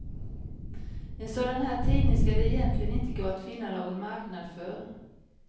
En sådan här tidning skall det egentligen inte gå att finna någon marknad för.